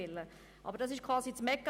Aber das ist quasi der Mechanismus.